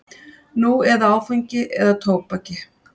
Nú eða áfengi eða tóbaki.